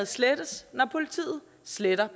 slettet når politiet sletter